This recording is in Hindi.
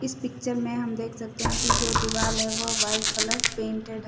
इस पिक्चर में हम देख सकते हैं कि जो दीवाल है वो वाइट कलर पेंटेड है।